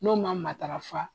N'o ma matarafa